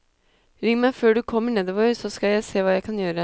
Ring meg før du kommer nedover, så skal jeg se hva jeg kan gjøre.